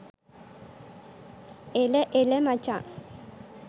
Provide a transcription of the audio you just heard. එල එල මචං